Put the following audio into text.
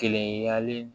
Kelen yali